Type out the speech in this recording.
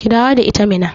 Ki dawo da ita Minna